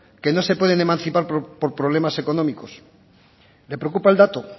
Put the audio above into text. que no se pueden emancipar por problemas económicos le preocupa el dato